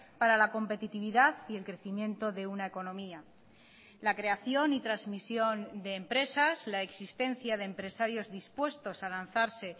para la competitividad y el crecimiento de una economía la creación y transmisión de empresas la existencia de empresarios dispuestos a lanzarse